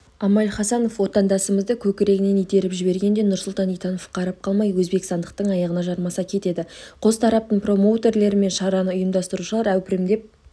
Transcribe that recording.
амаль хасанов отандасымызды көкірегінен итеріп жібергенде нұрсұлтан итанов қарап қалмай өзбекстандықтың аяғына жармаса кетеді қос тараптың промоутерлері мен шараны ұйымдастырушылар әупірімдеп